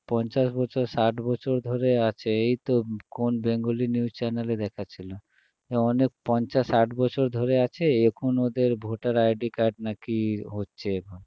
পঞ্চাশ বছর ষাট বছর ধরে আছে এই তো কোন bengali news channel এ দেখাচ্ছিল এ অনেক পঞ্চাশ ষাট বছর ধরে আছে এখন ওদের voter ID card নাকি হচ্ছে এখন